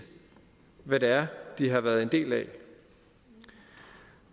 hvad det er de har været en del af